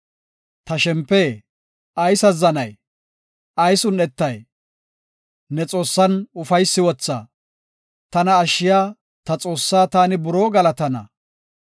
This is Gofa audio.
Ta shempe, ayis azzanay? ayis un7etay? Ne Xoossan ufaysi wotha; tana ashshiya, ta Xoossaa taani buroo galatana.